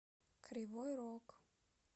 кривой рог